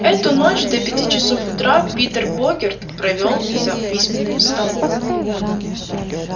эту ночь до пяти часов утра питер богерт провёл за письменным столом